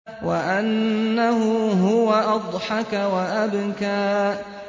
وَأَنَّهُ هُوَ أَضْحَكَ وَأَبْكَىٰ